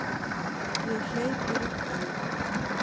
Ég hleyp í rökkrinu.